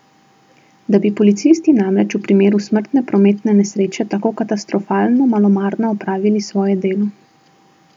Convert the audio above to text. Da bi policisti namreč v primeru smrtne prometne nesreče tako katastrofalno malomarno opravili svoje delo.